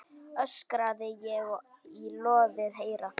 öskraði ég í loðið eyra.